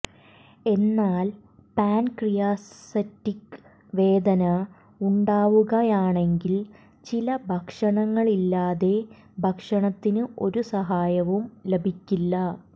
എന്നാൽ പാൻക്രിയാസറ്റിക് വേദന ഉണ്ടാവുകയാണെങ്കിൽ ചില ഭക്ഷണങ്ങളില്ലാതെ ഭക്ഷണത്തിന് ഒരു സഹായവും ലഭിക്കില്ല